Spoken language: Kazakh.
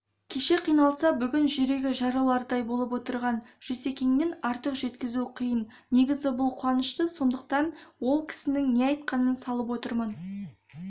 кеше қиналса бүгін жүрегі жарылардай болып отырған жүсекеңнен артық жеткізу қиын негізі бұл қуанышты сондықтан ол кісінің не айтқанын салып отырмын